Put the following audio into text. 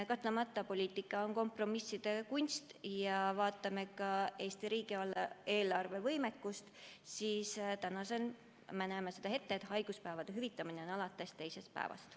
Kahtlemata poliitika on kompromisside kunst, ja kui me vaatame ka Eesti riigieelarve võimekust, siis me näeme ette, et haiguspäevade hüvitamine on võimalik alates teisest päevast.